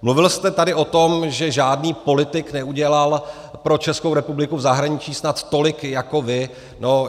Mluvil jste tady o tom, že žádný politik neudělal pro Českou republiku v zahraničí snad tolik jako vy.